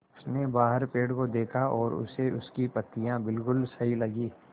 उसने बाहर पेड़ को देखा और उसे उसकी पत्तियाँ बिलकुल सही लगीं